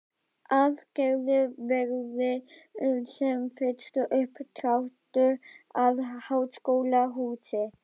Að gerður verði sem fyrst uppdráttur að háskólahúsi.